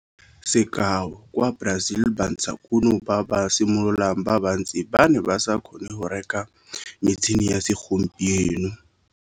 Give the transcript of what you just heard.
Sekao, kwa Brazil bantshakuno ba ba simololang ba bantsi ba ne ba sa kgone go reka metšhine ya segompieno.